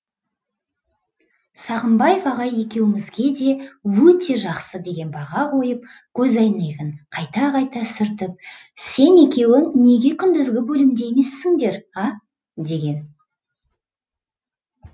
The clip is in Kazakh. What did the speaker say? сағымбаев ағай екеуімізге де өте жақсы деген баға қойып көз әйнегін қайта қайта сүртіп сен екеуің неге күндізгі бөлімде емессіңдер а деген